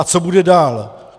A co bude dál!